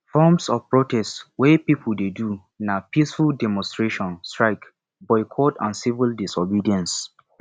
forms of protest wey people dey do na peaceful demonstration strike boycott and civil disobedence